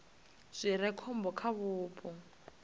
zwi re khombo kha vhupo